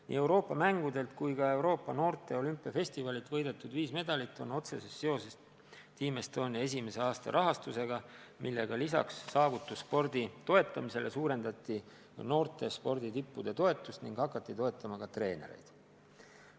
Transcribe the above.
Nii Euroopa mängudelt kui ka Euroopa noorte olümpiafestivalilt võidetud viis medalit on otseses seoses Team Estonia esimese aasta rahastusega, millega lisaks saavutusspordi toetamisele suurendati noorte sporditippude toetust ning hakati toetama ka treenereid.